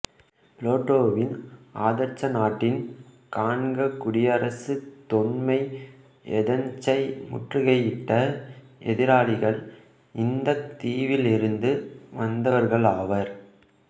பிளேட்டோவின் ஆதர்ச நாட்டின் காண்க குடியரசு தொன்மை ஏதென்சை முற்றுகையிட்ட எதிராளிகள் இந்தத் தீவிலிருந்து வந்தவர்களாவர்